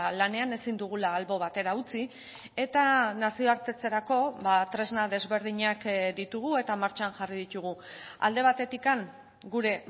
lanean ezin dugula albo batera utzi eta nazioartetzerako tresna desberdinak ditugu eta martxan jarri ditugu alde batetik gure